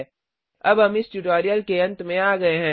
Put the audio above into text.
httpspoken tutorialorgNMEICT Intro अब हम इस ट्यूटोरियल के अंत में आ गये हैं